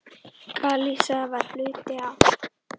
Galisía var hluti af